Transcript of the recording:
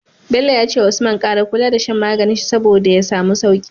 Bello yace wa usman kara kula da shan maganin shi saboda ya samu sauki